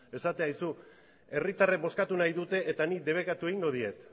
esatea aizu herritarrek bozkatu nahi dute eta nik debekatu egingo diet